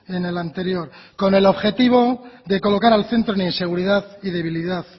en el anterior con el objetivo de colocar al centro en inseguridad y debilidad